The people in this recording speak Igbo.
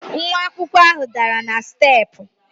Nwa akwụkwọ ahụ dara na steepụ.